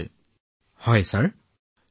আপুনিটো প্ৰতিষেধকৰ দুয়োটা পালিয়েই গ্ৰহণ কৰিছে